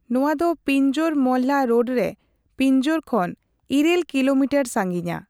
ᱱᱚᱣᱟ ᱫᱚ ᱯᱤᱧᱡᱳᱨᱼᱢᱚᱞᱞᱟ ᱨᱳᱰ ᱨᱮ ᱯᱤᱧᱡᱳᱨ ᱠᱷᱚᱱ ᱘ ᱠᱤᱞᱳᱢᱤᱴᱟᱨ ᱥᱟᱹᱜᱤᱧᱟ ᱾